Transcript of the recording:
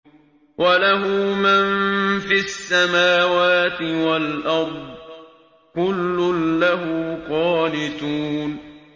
وَلَهُ مَن فِي السَّمَاوَاتِ وَالْأَرْضِ ۖ كُلٌّ لَّهُ قَانِتُونَ